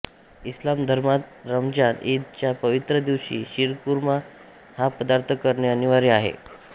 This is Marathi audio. इस्लाम धर्मात रमजान ईद च्या पवित्र दिवशी शिरकुर्मा हा पदार्थ करणे अनिवार्य मानले जाते